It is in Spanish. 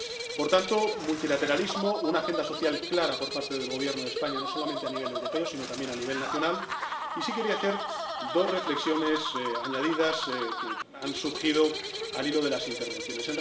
Por tanto, multilateralismo, una agenda social clara por parte del Gobierno de España, no solamente a nivel europeo, sino también a nivel nacional, y también quería hacer dos reflexiones añadidas que han surgido al hilo de las intervenciones.